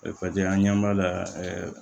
an ɲɛ b'a la ɛɛ